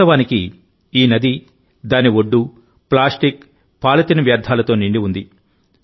వాస్తవానికిఈ నది దాని ఒడ్డు ప్లాస్టిక్ పాలిథిన్ వ్యర్థాలతో నిండి ఉంది